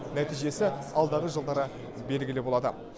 нәтижесі алдағы жылдары белгілі болады